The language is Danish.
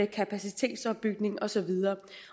kapacitetsopbygning og så videre